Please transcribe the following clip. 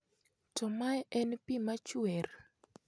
"To mae en pii machuer.